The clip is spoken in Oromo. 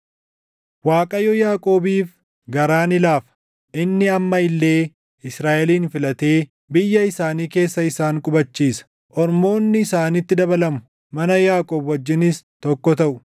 Waaqayyo Yaaqoobiif garaa ni laafa; inni amma illee Israaʼelin filatee biyya isaanii keessa isaan qubachiisa. Ormoonni isaanitti dabalamu; mana Yaaqoob wajjinis tokko taʼu.